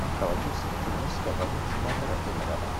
онкологическая клиническая больница номер один рядом